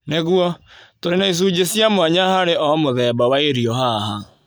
Nĩguo, tũrĩ na icunjĩ cia mwanya harĩ o mũthemba wa irio haha.